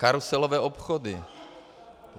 Karuselové obchody.